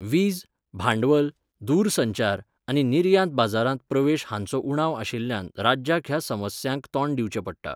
वीज, भांडवल, दूरसंचार आनी निर्यात बाजारांत प्रवेश हांचो उणाव आशिल्ल्यान राज्याक ह्या समस्यांक तोंड दिंवचे पडटा